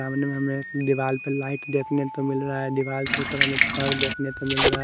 सामने में हमें दीवाल पर लाइट देखने को मिल रहा है दीवाल के ऊपर हमें छड़ देखने को मिल रहा है।